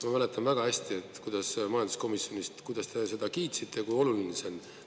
Ma mäletan väga hästi, kuidas majanduskomisjonis, kuidas te seda kiitsite, kui oluline see on.